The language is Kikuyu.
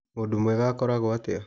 Mũndũ mwega akorago atĩa